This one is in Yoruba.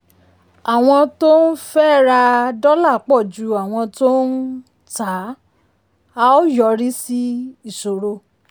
àwọn tó ń fẹ́ ra dólà pọ̀ ju àwọn tó ń um tà um á ó yọrí sí ìṣòro.